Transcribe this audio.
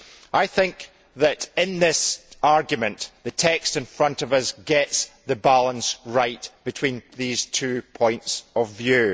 I think that in this argument, the text in front of us gets the balance right between these two points of view.